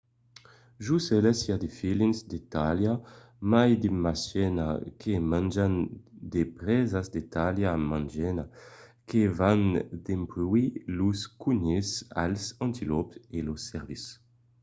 jos eles i a de felins de talha mai mejana que manjan de presas de talha mejana que van dempuèi los conilhs als antilòps e los cèrvis